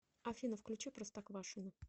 афина включи простоквашино